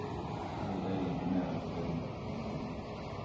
Jag hällde i lite mera gräddmjölk från kannan.